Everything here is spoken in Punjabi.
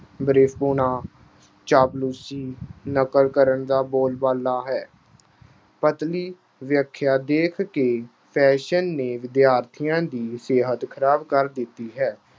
, ਚਾਪਲੂਸੀ, ਨਕਲ ਕਰਨ ਦਾ ਬੋਲਬਾਲਾ ਹੈ। ਦੇਖ ਕੇ fashion ਨੇ ਵਿਦਿਆਰਥੀਆ ਦੀ ਸਿਹਤ ਖਰਾਬ ਕਰ ਦਿੱਤੀ ਹੈ।